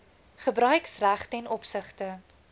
gebruiksreg ten opsigte